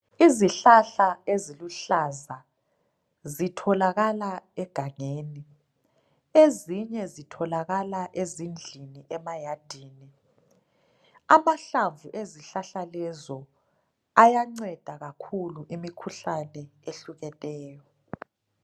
Izihlahla eziluhlaza zitholakaka egangeni, Ezinye zitholakala ezindlini emayadini. Amahlamvu ezihlahla lezo ayanceda kakhulu imikhuhlane ehlukeneyo.